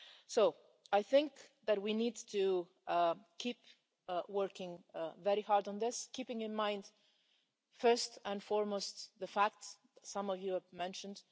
So I think that we need to keep working very hard on this, keeping in mind first and foremost the facts some of you have mentioned.